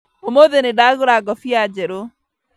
ũmũthĩ nĩndagũra ngobia njerũ